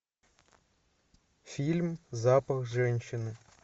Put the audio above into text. фильм запах женщины